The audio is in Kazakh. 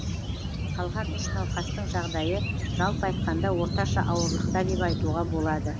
қалған үш науқастың жағдайы жалпы айтқанда орташа ауырлықта деп айтуға болады